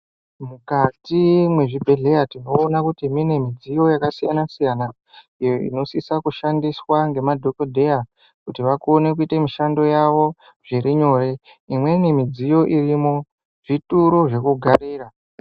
Mukati mwezvibhedhleya tinoona kuti mune midziyo yakasiyana siyana iyo inosise kushandiswa ngemadhokodheya kuti vakone kuita mishando yavo zviri nyore, imweni midziyo irimo zvituro zvekugarira.